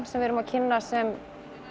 sem við erum að kynna sem